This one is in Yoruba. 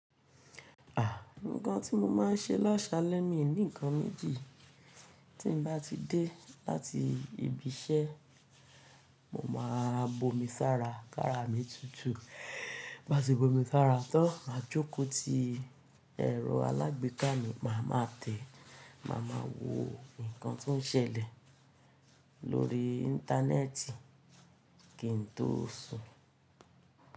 A, nnkan tí mo máa ń ṣe láṣalẹ̀ mi ni nnkan méjì. Tí mo bá ti dé láti ibi iṣẹ́, mo máa bomi sára, kára mi tutù. Báṣe bomi sára tán, máa jókòó ti ẹ̀rọ alágbèéká mi, màá ma tẹ̀, màá ma wo nǹkan tó ń ṣẹlẹ̀ lórí Íńtánẹ́ẹ̀tì kí n tó sùn.